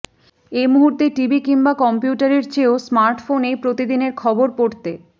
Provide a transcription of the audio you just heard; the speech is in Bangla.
এ মুহূর্তে টিভি কিংবা কমপিউটারের চেয়েও স্মার্টফোনেই প্রতিদিনের খবর পড়তে